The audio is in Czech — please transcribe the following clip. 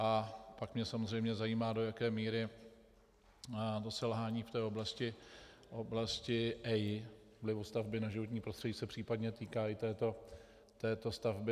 A pak mě samozřejmě zajímá, do jaké míry selhání v té oblasti EIA, vlivu stavby na životní prostředí, se případně týká i této stavby.